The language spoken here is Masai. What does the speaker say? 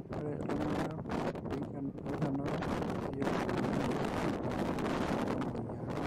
ore toltunganak oikenoro meyiolounoi enetii rubat namoyia